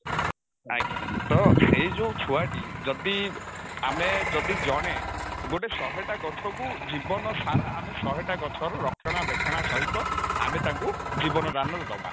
ଆଜ୍ଞା ତ ସେଇ ଯଉ ଛୁଆଟି ଯଦି ଆମେ ଯଦି ଜଣେ ଗୋଟେ ଶହେଟା ଗଛକୁ ଜୀବନ ସାରା ଆମେ ଶହେଟା ଗଛର ରକ୍ଷଣା ବେକ୍ଷଣା ସହିତ ଆମେ ଟାକୁ ଜୀବନ ଦାନ ଦବା